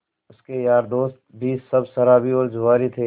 उसके यार दोस्त भी सब शराबी और जुआरी थे